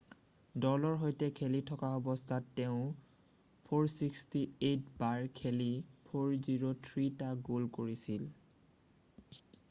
দলৰ সৈতে খেলি থকা অৱস্থাত তেওঁ 468 বাৰ খেলি 403 টা গ'ল কৰিছিল